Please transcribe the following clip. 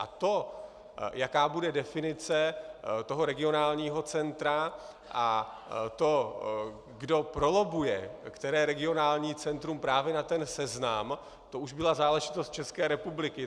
A to, jaká bude definice toho regionálního centra, a to, kdo prolobbuje které regionální centrum právě na ten seznam, to už byla záležitost České republiky.